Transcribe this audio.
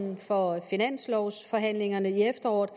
for finanslovsforhandlingerne i efteråret